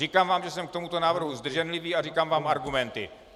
Říkám vám, že jsem k tomuto návrhu zdrženlivý, a říkám vám argumenty.